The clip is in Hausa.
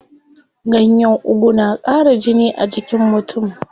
Ganyen ugu na ƙara jini a jikin mutum.